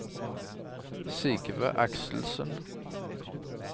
Sigve Akselsen